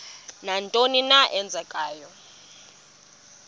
nantoni na eenzekayo